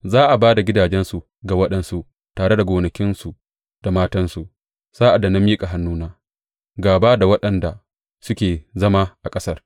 Za a ba da gidajensu ga waɗansu, tare da gonakinsu da matansu, sa’ad da na miƙa hannuna gāba da waɗanda suke zama a ƙasar,